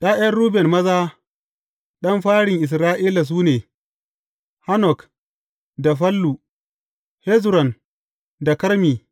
’Ya’yan Ruben maza ɗan farin Isra’ila su ne, Hanok da Fallu, Hezron da Karmi.